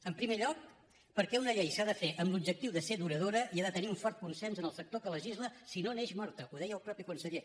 en primer lloc perquè una llei s’ha de fer amb l’objectiu de ser duradora i ha de tenir un fort consens en el sector que legisla sinó neix morta que ho deia el mateix conseller